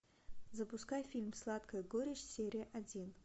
запускай фильм сладкая горечь серия один